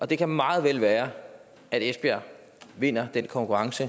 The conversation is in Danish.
det kan meget vel være at esbjerg vinder den konkurrence